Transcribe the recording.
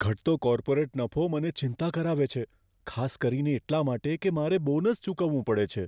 ઘટતો કોર્પોરેટ નફો મને ચિંતા કરાવે છે, ખાસ કરીને એટલાં માટે કે મારે બોનસ ચૂકવવું પડે છે.